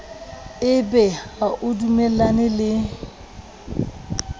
ebe ha o dumellane le